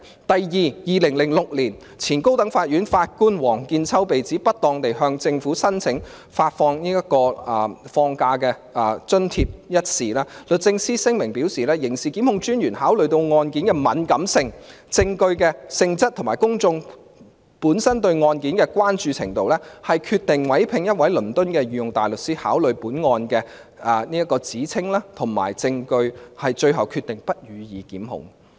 第二，在2006年，前高等法院法官王見秋被指不當地向政府申請發放假期津貼一事，律政司的聲明表示，刑事檢控專員考慮到案件的敏感性，證據的性質及公眾本身對案件的關注程度，決定委聘一位倫敦的御用大律師考慮該案的指稱及證據，最後決定不予檢控。